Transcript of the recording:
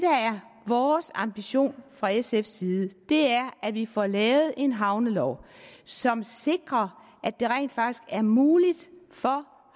vores ambition fra sfs side er at vi får lavet en havnelov som sikrer at det rent faktisk er muligt for